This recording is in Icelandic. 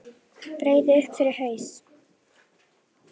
Breiði upp yfir haus.